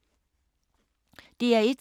DR1